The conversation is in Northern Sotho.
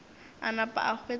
a napa a hwetša e